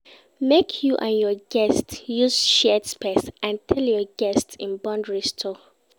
Make you and your guest use shared space and tell your guest in boundaries too